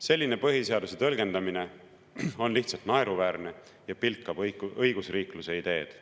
Selline põhiseaduse tõlgendamine on lihtsalt naeruväärne ja pilkab õigusriikluse ideed.